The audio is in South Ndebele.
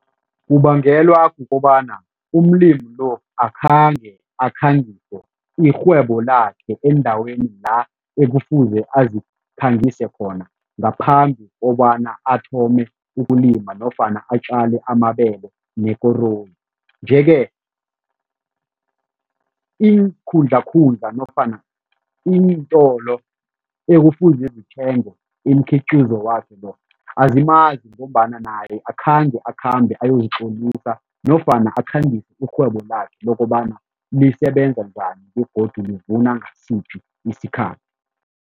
Kubangelwa kukobana umlimi lo akhange akhangingise irhwebo lakhe endaweni la ekufuze azikhangise khona ngaphambi kobana athome ukulima nofana atjale amabele nekoroyi nje-ke iinkhundlakhundla nofana iintolo ekufuze zithenge imikhiqizo wakhe lo azimazi ngombana naye akhange akhambe ayozitlolisa nofana akhangise irhwebo lakhe lokobana lisebenza njani begodu livuna ngasiphi isikhathi.